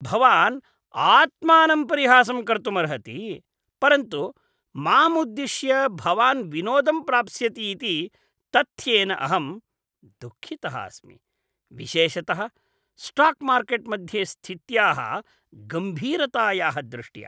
भवान् आत्मानं परिहासं कर्तुमर्हति, परन्तु माम् उद्दिश्य भवान् विनोदं प्राप्स्यति इति तथ्येन अहं दुःखितः अस्मि, विशेषतः स्टाक् मार्केट् मध्ये स्थित्याः गम्भीरतायाः दृष्ट्या।